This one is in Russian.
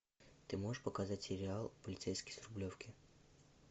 ты можешь показать сериал полицейский с рублевки